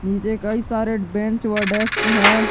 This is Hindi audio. यह कई सारे बेंच व डेस्क हैं।